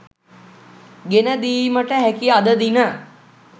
ගෙන දීමට හැකි අද දින